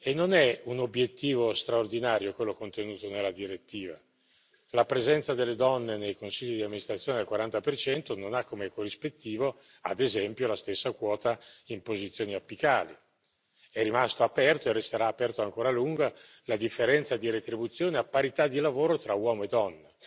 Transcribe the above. Non è un obiettivo straordinario quello contenuto nella direttiva la presenza delle donne nei consigli di amministrazione del 40 non ha come corrispettivo, ad esempio, la stessa quota in posizioni apicali è rimasta aperta e resterà aperta ancora a lungo la questione della differenza di retribuzione, a parità di lavoro, tra uomo e donna.